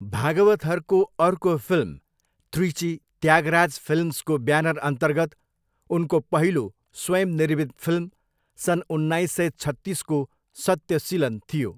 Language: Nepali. भागवथरको अर्को फिल्म त्रिची त्यागराज फिल्म्सको ब्यानरअन्तर्गत उनको पहिलो स्वयं निर्मित फिल्म सन् उन्नाइस सय छत्तिसको 'सत्यसिलन' थियो।